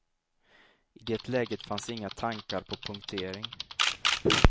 I det läget fanns inga tankar på punktering.